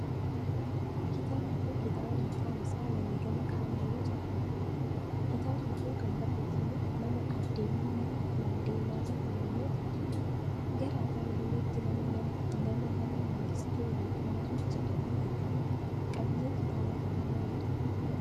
Kitaabni kun, kitaaba maqaan isaa wareegama kaayyoo jedhamuu dha. Kitaabni kun, kan barreeffame nama Aadde Wiinii Maandeellaa jedhamuun yoo ta'u, gara afaan Oromootti nama nama Mangistuu Waaqumaa jedhamuun hiikame. Qabiiyyeen kitaaba kanaa maalii dha?